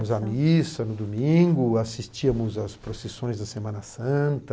Iamos à missa no domingo, assistíamos às procissões da Semana Santa.